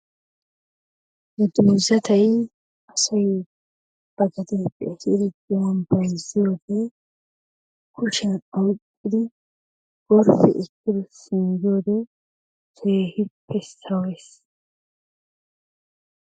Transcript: Asay giyan bayzziyogee kushiyan oyqqidi singgiyode keehippe sawees.